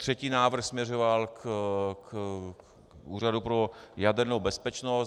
Třetí návrh směřoval k Úřadu pro jadernou bezpečnost.